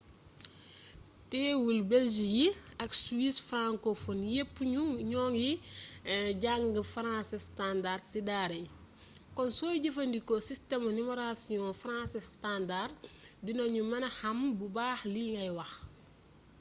teewul belge yi ak suisse francophone yépp ñu ngi jàngee français standard ci daara yi kon sooy jëfandikoo sistemu numerotasion français standard dina ñu mëna xam bu baa xli ngay wax